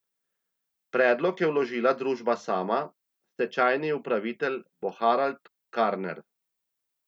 Predlog je vložila družba sama, stečajni upravitelj bo Harald Karner.